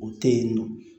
O tɛ yen nɔ